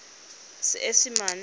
seesimane